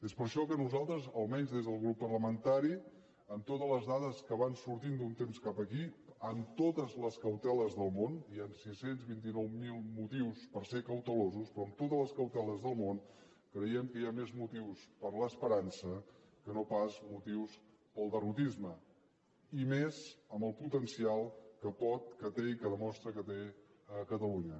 és per això que nosaltres almenys des del grup parlamentari amb totes les dades que van sortint d’un temps cap aquí amb totes les cauteles del món hi han sis cents i vint nou mil motius per ser cautelosos però amb totes les cauteles del món creiem que hi ha més motius per a l’esperança que no pas motius per al derrotisme i més amb el potencial que pot que té i que demostra que té catalunya